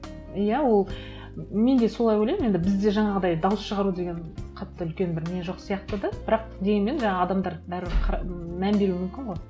иә ол мен де солай ойлаймын енді бізде жаңағыдай дауыс шығару деген қатты үлкен бір не жоқ сияқты да бірақ дегенмен жаңа адамдар бәрібір мән беруі мүмкін ғой